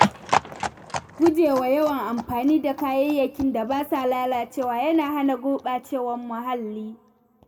Guje wa yawan amfani da kayayyakin da ba sa lalacewa yana hana gurɓacewar muhalli.